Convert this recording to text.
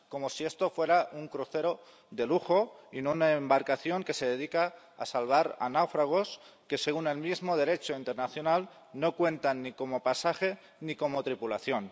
Como si esto fuera un crucero de lujo y no una embarcación que se dedica a salvar a náufragos que, según el mismo Derecho internacional, no cuentan ni como pasaje ni como tripulación.